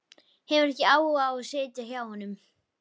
Hefur ekki áhuga á að sitja hjá honum.